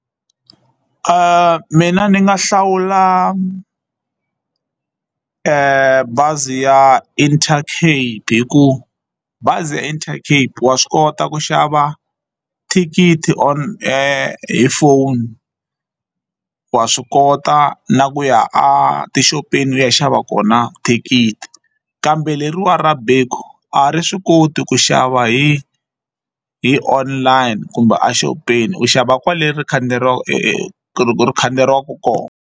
Mina ni nga hlawula bazi ya Intercape hikuva bazi ya Intercape wa swi kota ku xava thikithi on hi phone wa swi kota na ku ya a tixopeni u ya xava kona thikithi kambe leriwa ra a ri swi koti ku xava hi hi online kumbe a xopeni u xava kwale ri ri khandziyeriwaka kona.